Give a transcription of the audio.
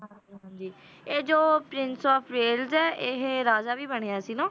ਹਾਂਜੀ ਹਾਂਜੀ ਇਹ ਜੋ prince of ਵੈਲਜ ਹੈ ਇਹ ਰਾਜਾ ਵੀ ਬਣਿਆ ਸੀ ਨਾ,